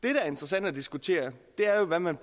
er interessant at diskutere er jo hvad man